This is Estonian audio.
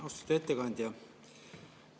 Austatud ettekandja!